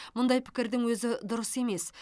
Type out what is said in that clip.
мұндай пікірдің өзі дұрыс емес